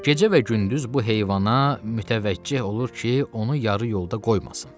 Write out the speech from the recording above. Gecə və gündüz bu heyvana mütəvəccüh olur ki, onu yarı yolda qoymasın.